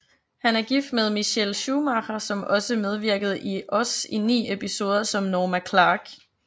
Han er gift med Michelle Schumacher som også medvirkede i Oz i 9 episoder som Norma Clark